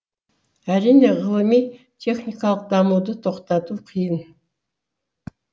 әрине ғылыми техникалық дамуды тоқтату қиын